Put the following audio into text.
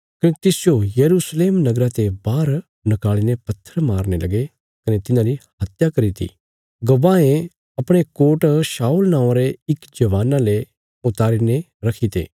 कने तिसजो यरूशलेम नगरा ते बाहर निकाल़ी ने पत्थर मारने लगे कने तिन्हांरी हत्या करी ती गवाहें अपणे कोट शाऊल नौआं रे इक जवाना ले उतारी ने रखीते